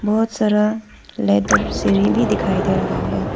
बहोत सारा लेदर सिढ़ी भी दिखाई दे रहा है।